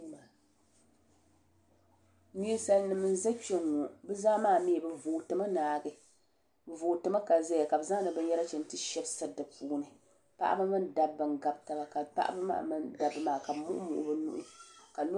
ninsal nim n ʒɛ kpɛŋŋɔ bi zaa maa mii bi vooti mi naagi bi voorimi ka ʒɛya ka bi zaŋdi binyɛra chɛni ti shɛbi siri di puuni paɣaba mini dabba n gabi taba ka paɣaba maa mini dabba maa ka bi muɣi muɣi bi nuhi ka ka